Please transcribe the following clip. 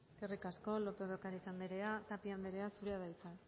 eskerrik asko lópez de ocariz andrea tapia andrea zurea da hitza